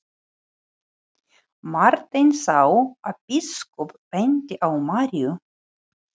Marteinn sá að biskup benti á Maríu.